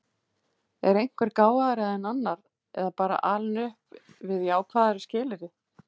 Er einhver gáfaðri en annar eða bara alinn upp við jákvæðari skilyrði?